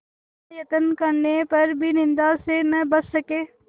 इतना यत्न करने पर भी निंदा से न बच सके